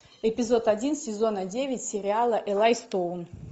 эпизод один сезона девять сериала элай стоун